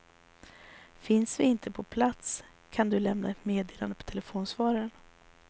Finns vi inte på plats kan du lämna ett meddelande på telefonsvararen.